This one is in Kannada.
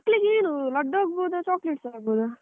ಮತ್ತೆ ಮಕ್ಲಿಗೆ ಮಕ್ಲಿಗೆ ಏನು ಲಡ್ಡು ಆಗ್ಬಹುದಾ chocolates ಆಗ್ಬಹುದಾ?